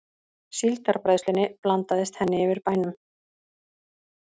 Síldarbræðslunni blandaðist henni yfir bænum.